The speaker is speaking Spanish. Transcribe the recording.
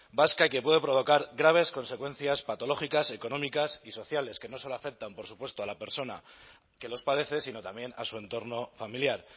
vasca y que puede provocar graves consecuencias patológicas económicas y sociales que no solo afectan por supuesto a la persona que los padece sino también a su entorno familiar